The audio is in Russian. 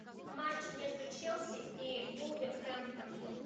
матч между челси и вулверхэмптон